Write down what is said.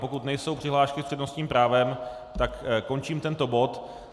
Pokud nejsou přihlášky s přednostním právem, tak končím tento bod.